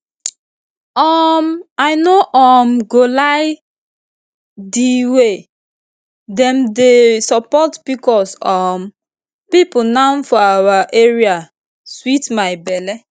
um i no um go lie di way dem dey support pcos um people now for our area sweet my belle